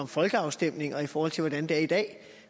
folkeafstemninger i forhold til hvordan det er i dag